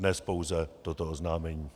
Dnes pouze toto oznámení.